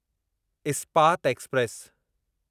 Ispat express